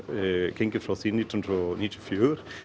gengið frá því nítján hundruð níutíu og fjögur